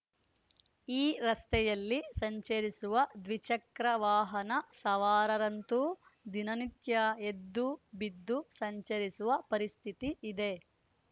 ಈ ರಸ್ತೆಯಲ್ಲಿ ಸಂಚರಿಸುವ ದ್ವಿಚಕ್ರ ವಾಹನ ಸವಾರರಂತೂ ದಿನನಿತ್ಯ ಎದ್ದು ಬಿದ್ದು ಸಂಚರಿಸುವ ಪರಿಸ್ಥಿತಿ ಇದೆ